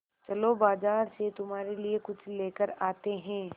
चलो बाज़ार से तुम्हारे लिए कुछ लेकर आते हैं